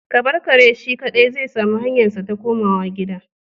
Ka bar kare shi kadai zai sami hanyarsa ta komawa gida